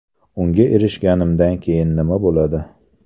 Unga erishganimdan keyin nima bo‘ladi?